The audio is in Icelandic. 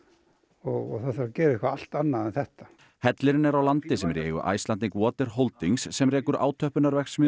og það þarf að gera eitthvað allt annað en þetta hellirinn er á landi sem er í eigu Icelandic Holdings sem rekur